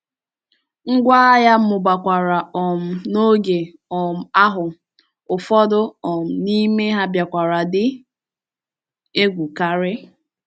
Ngwá agha mụbakwara um n’oge um ahụ, ụfọdụ um n’ime ha bịakwara dị egwu karị.